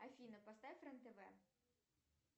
афина поставь рен тв